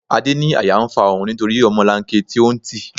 Adé ní àyà ń fa òun nítorí ọmọlanke tí ó ń tì.